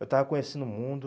Eu estava conhecendo o mundo.